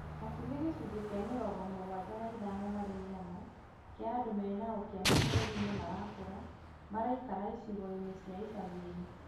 hakuhĩ gĩcunjĩ kĩa mĩrongo mũgwanja na ithano harĩ igana kĩa andũ mena ũkĩa mabũrũri-inĩ marakũra maraikara icigo-inĩ cia icagi-inĩ.